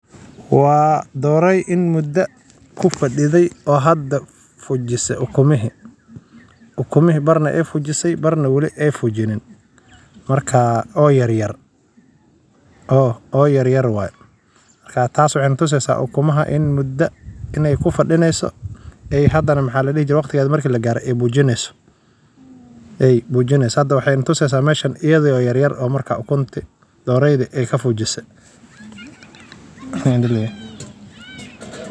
Waa doraaay in mudaa ah kufadithe oo hada fujise ukumihi uxuu ahaa muuqaal farxad leh oo igu dhiirrigeliyay inaan wada sheekeysano oo aan wadaagno waayo-aragnimadii iyo wararkii.